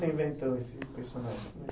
Você inventou esse personagem?